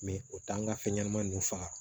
o t'an ka fɛn ɲɛnama ninnu faga